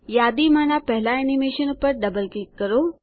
યાદીમાંની પહેલા એનીમેશન પર double click કરો